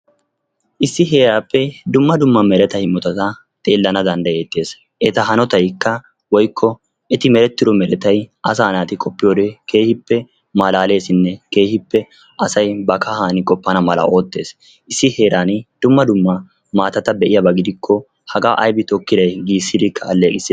Issi heerappe dumma dumma meretaa imotatta xeelana danddayetees. Eta hanotaykka woykko eti merettido meretay asa naati qopiyoode keehippe malaleessinne keehippe asay ba kahan qopana mala oottees. Issi heeran dumma dumma maatata be'iyaaba gidiko haga aybbe tokkiday giisidi aleeqissees.